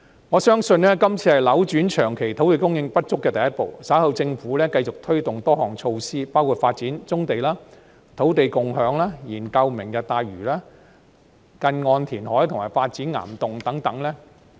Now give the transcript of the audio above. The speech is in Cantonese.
我相信今次是扭轉土地長期供應不足的第一步，稍後政府繼續推動多項措施，包括發展棕地、土地共享、研究"明日大嶼"、近岸填海和發展岩洞等。